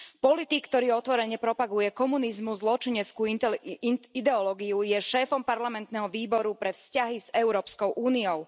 Politik, ktorý otvorene propaguje komunizmus, zločineckú ideológiu, je šéfom parlamentného výboru pre vzťahy s Európskou úniou.